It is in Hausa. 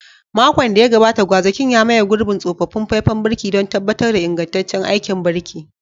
Makon da ya gabata, gwazakin ya maye gurbin tsofaffin faifan birki don tabbatar da ingantaccen aikin birki.